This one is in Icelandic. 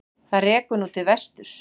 Það rekur nú til vesturs.